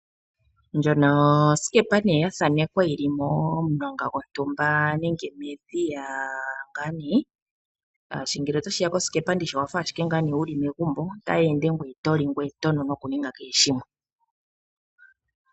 Ndjono osikepa neye yathanekekwa yili momulonga gontumba nenge medhiya nga neye. Shashi ngele otashiya kosikepa owafa ashike ngaa ne wuli megumbo otaye ende gweye toli gweye twe ende noku ninga kehe shimwe.